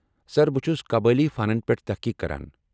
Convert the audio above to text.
سر ، بہٕ چُھس قبٲیلی فنن پٮ۪ٹھ تحقیق کران ۔